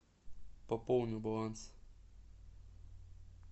пополни баланс